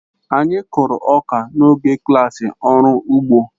Anyị kụrụ ọka n'oge klassị ọrụ igbo